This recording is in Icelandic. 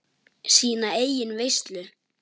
Sína eigin veislu.